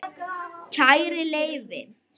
Kæri Leifi,